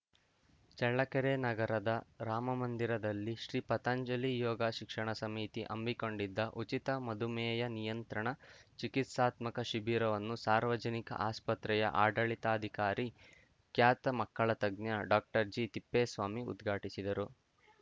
ಚಳ್ಳಕೆರೆ ನಗರದ ರಾಮಮಂದಿರದಲ್ಲಿ ಶ್ರೀ ಪತಂಜಲಿ ಯೋಗ ಶಿಕ್ಷಣ ಸಮಿತಿ ಹಮ್ಮಿಕೊಂಡಿದ್ದ ಉಚಿತ ಮಧುಮೇಹ ನಿಯಂತ್ರಣ ಚಿಕಿತ್ಸಾತ್ಮಕ ಶಿಬಿರವನ್ನು ಸಾರ್ವಜನಿಕ ಆಸ್ಪತ್ರೆಯ ಆಡಳಿತಾಧಿಕಾರಿ ಖ್ಯಾತ ಮಕ್ಕಳ ತಜ್ಞ ಡಾಕ್ಟರ್ಜಿತಿಪ್ಪೇಸ್ವಾಮಿ ಉದ್ಘಾಟಿಸಿದರು